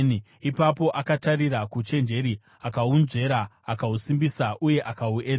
ipapo akatarira kuuchenjeri akahunzvera; akahusimbisa uye akahuedza.